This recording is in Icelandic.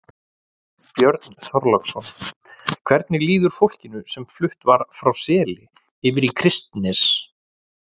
Björn Þorláksson: Hvernig líður fólkinu sem flutt var frá Seli yfir í Kristnes?